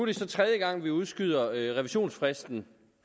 det så tredje gang at vi udskyder revisionsfristen